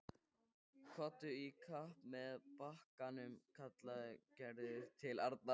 Komdu í kapp að bakkanum kallaði Gerður til Arnar.